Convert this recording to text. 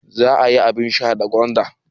Za a yi abin sha da gwanda.